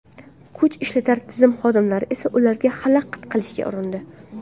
Kuch ishlatar tizim xodimlari esa ularga xalaqit qilishga urindi.